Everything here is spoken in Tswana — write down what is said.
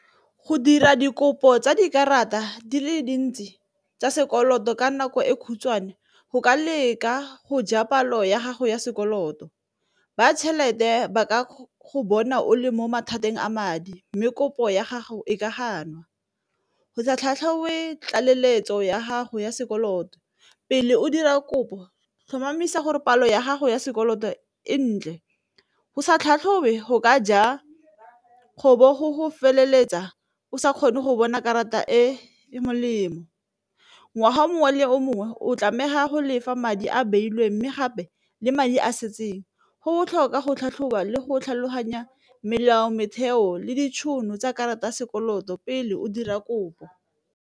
Go dira dikopo tsa dikarata di le dintsi tsa sekoloto ka nako e khutshwane go ka leka go ja palo ya gago ya sekoloto, ba tšhelete ba ka go bona o le mo mathateng a madi mme kopo ya gago e ka ga nwa. Go sa tlhatlhobe tlaleletso ya gago ya sekoloto pele o dira kopo tlhomamisa gore palo ya gago ya sekoloto e ntle, go sa tlhatlhobe go ka ja go bo go go feleletsa o sa kgone go bona karata e molemo, ngwaga mongwe le o mongwe o tlameha go lefa madi a beilweng mme gape le madi a setseng, go botlhokwa go tlhatlhoba le go tlhaloganya melao metheo le ditšhono tsa karata ya sekoloto pele o dira kopo.